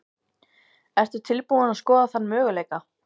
Ertu tilbúin að skoða þann möguleika?